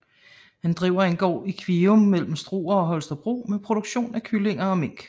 Han driver en gård i Kvium mellem Struer og Holstebro med produktion af kyllinger og mink